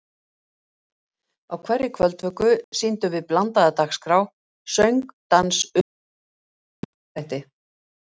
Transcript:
Á hverri kvöldvöku sýndum við blandaða dagskrá: söng, dans, upplestur, heila leikþætti.